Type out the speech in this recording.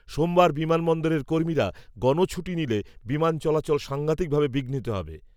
সোমবার বিমানবন্দরের কর্মীরা, গণছুটি নিলে, বিমান চলাচল সাংঘাতিক ভাবে বিঘ্নিত হবে